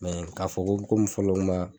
k'a fɔ ko komi fɔlɔ ma